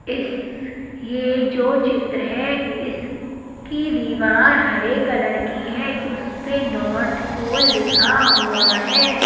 इस यह जो चित्र है इसकी दीवार हरे कलर की है उस पे नॉर्थ पोल लिखा हुआ है।